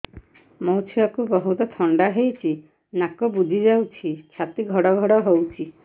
ମୋ ଛୁଆକୁ ବହୁତ ଥଣ୍ଡା ହେଇଚି ନାକ ବୁଜି ଯାଉଛି ଛାତି ଘଡ ଘଡ ହଉଚି